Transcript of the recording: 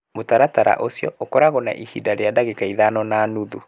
Mũtaratara ũcio ũkoragwo na ihinda rĩa ndagĩka ithano na nuthu.